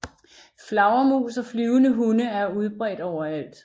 Flagermus og flyvende hunde er udbredte overalt